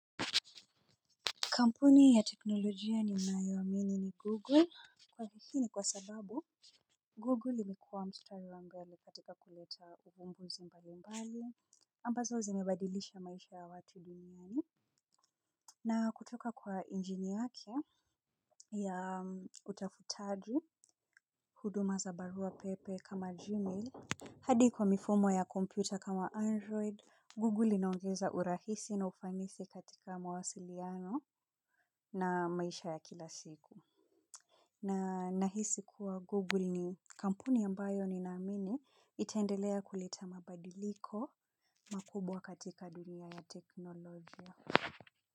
Kampuni ya teknolojia ninayoamini ni Google. Kwani hii ni kwa sababu, Google imekuwa mstari wangu yaani katika kuleta ufumbuzi mbalimbali. Ambazo zimebadilisha maisha ya watu duniani. Na kutoka kwa injini yake ya utafutaji, huduma za barua pepe kama Gmail. Hadi kwa mifumo ya kompyuta kama Android. Google inaongeza urahisi na ufanisi katika mawasiliano na maisha ya kila siku. Na nahisi kuwa Google ni kampuni ambayo ninaamini itaendelea kuleta mabadiliko makubwa katika dunia ya teknolojia.